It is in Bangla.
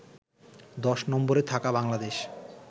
১০ নম্বরে থাকা বাংলাদেশ